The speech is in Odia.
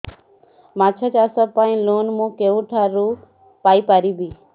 ମାଛ ଚାଷ ପାଇଁ ଲୋନ୍ ମୁଁ କେଉଁଠାରୁ ପାଇପାରିବି